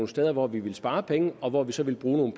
steder hvor vi ville spare penge og hvor vi så ville bruge